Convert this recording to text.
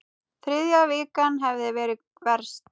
Þriðja vikan hefði verið verst.